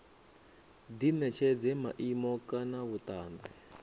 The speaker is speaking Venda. di netshedza maimo kana vhutanzi